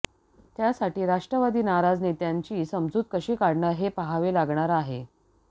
त्यामुळे राष्ट्रवादी नाराज नेत्यांची समजूत कशी काढणार हे पाहावं लागणार आहे